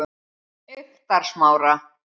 Eyktarsmára